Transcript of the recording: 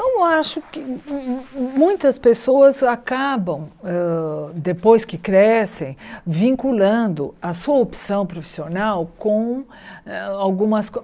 Eu não acho que mu mu muitas pessoas acabam hã, depois que crescem, vinculando a sua opção profissional com algumas